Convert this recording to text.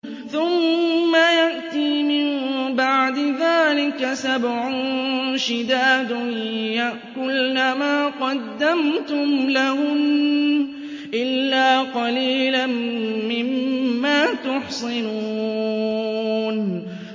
ثُمَّ يَأْتِي مِن بَعْدِ ذَٰلِكَ سَبْعٌ شِدَادٌ يَأْكُلْنَ مَا قَدَّمْتُمْ لَهُنَّ إِلَّا قَلِيلًا مِّمَّا تُحْصِنُونَ